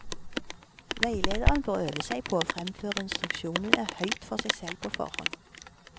Veilederen bør øve seg på å fremføre instruksjonen høyt for seg selv på forhånd.